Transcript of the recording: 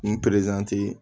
N perezan ye